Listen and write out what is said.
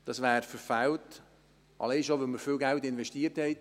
Das wäre verfehlt, alleine schon deshalb, weil wir viel Geld investiert haben.